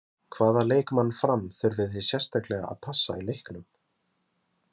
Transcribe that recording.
Hvaða leikmann Fram þurfið þið sérstaklega að passa í leiknum?